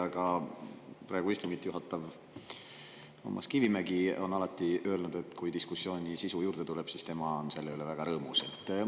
Ka praegu istungit juhatav Toomas Kivimägi on alati öelnud, et kui diskussioonile sisu juurde tuleb, siis tema on selle üle väga rõõmus.